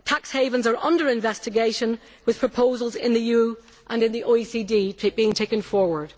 Tax havens are under investigation, with proposals in the EU and in the OECD being taken forward.